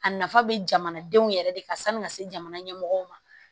A nafa bɛ jamanadenw yɛrɛ de kan sanni ka se jamana ɲɛmɔgɔw ma